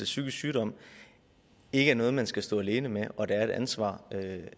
psykisk sygdom ikke er noget man skal stå alene med og at der er et ansvar